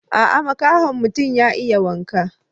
Aa, makahon mutum ya iya waka.